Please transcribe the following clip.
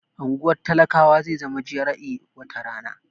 Unguwar talakawa zai zama GRA wata rana